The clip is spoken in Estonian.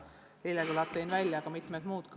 Vilja Toomast, palun!